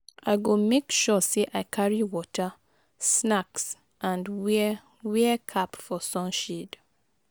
i go make sure say i carry water, snacks and wear wear cap for sunshade.